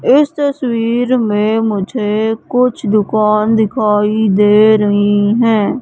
इस तस्वीर में मुझे कुछ दुकान दिखाई दे रही हैं।